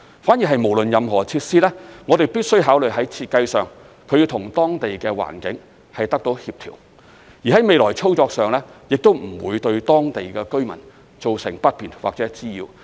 反而不論是任何設施，我們必須考慮在設計上，它要與當地的環境協調，而在未來操作上，亦都不會對當地居民造成不便或滋擾。